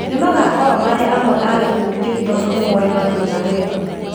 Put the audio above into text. Nĩ magaakorwo marĩ amwe a gĩkundi kĩu tondũ nĩmoĩ mathĩna wega